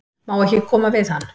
Má ekki koma við hann?